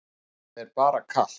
Það er bara kalt.